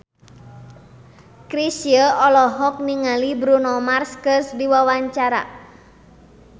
Chrisye olohok ningali Bruno Mars keur diwawancara